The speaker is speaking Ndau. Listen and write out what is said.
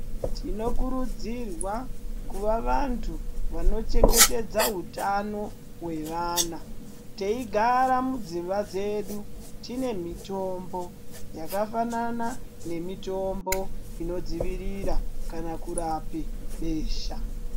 Tinokurudzirwa kuva vantu vanochengetedza utano wevana, teyigara mudzimba dzedu tine mitombo yakafanana nemitombo inidzivirira kana kurape besha.